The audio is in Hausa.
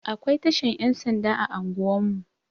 Akwai tashar Yan sanda a anguwan mu.